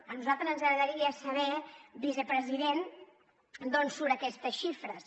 a nosaltres ens agradaria saber vicepresident d’on surten aquestes xifres